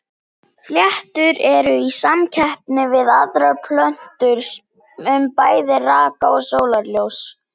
Fléttur eru í samkeppni við aðrar plöntur um bæði raka og sólarljós.